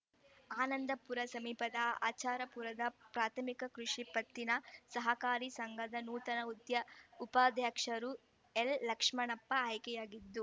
ಆನಂದಪುರ ಸಮೀಪದ ಆಚಾಪುರದ ಪ್ರಾಥಮಿಕ ಕೃಷಿ ಪತ್ತಿನ ಸಹಕಾರಿ ಸಂಘದ ನೂತನ ಉಧ್ಯಾ ಉಪಾಧ್ಯಕ್ಷರಾಗಿ ಎಲ್‌ಲಕ್ಷ್ಮಣಪ್ಪ ಆಯ್ಕೆಯಾಗಿದ್ದು